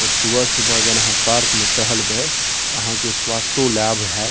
और सुबह-सुबह अगर आहां पार्क में टहलबे ते आहां के स्वास्थो लाभ हात।